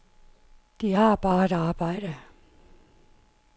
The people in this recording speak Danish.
De har bare et arbejde.